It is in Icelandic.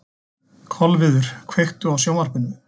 Kolviður, kveiktu á sjónvarpinu.